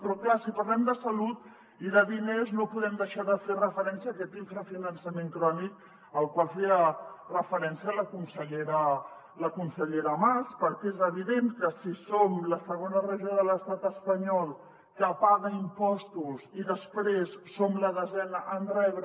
però clar si parlem de salut i de diners no podem deixar de fer referència a aquest infrafinançament crònic al qual feia referència la consellera mas perquè és evident que si som la segona regió de l’estat espanyol que paga impostos i després som la desena en rebre